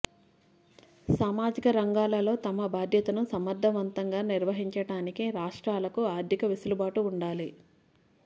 సామాజిక రంగాలలో తమ బాధ్యతను సమర్ధవంతంగా నిర్వహించటానికి రాష్ట్రాలకు ఆర్థిక వెసులుబాటు ఉండాలి